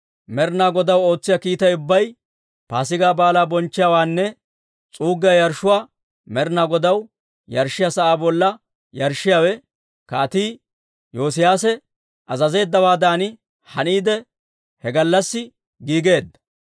Med'inaa Godaw ootsiyaa kiitay ubbay, Paasigaa Baalaa bonchchiyaawenne s'uuggiyaa yarshshuwaa Med'inaa Godaw yarshshiyaa sa'aa bolla yarshshiyaawe, Kaatii Yoosiyaase azazeeddawaadan haniide, he gallassi giigeedda.